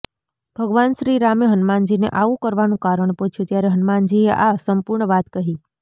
ભગવાન શ્રી રામે હનુમાનજીને આવું કરવાનું કારણ પૂછ્યું ત્યારે હનુમાનજીએ આ સંપૂર્ણ વાત કહી